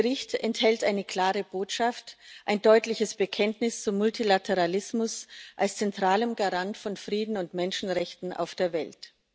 Dieser Bericht enthält eine klare Botschaft, ein deutliches Bekenntnis zum Multilateralismus als zentralem Garant von Frieden und Menschenrechten auf der Welt.